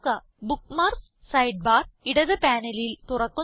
bookmarks side bar ഇടത് പാനലിൽ തുറക്കുന്നു